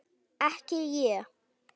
Ekki ég.